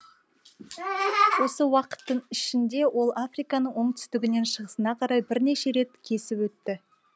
осы уақыттың ішінде ол африканы оңтүстігінен шығысына қарай бірнеше рет кесіп өтті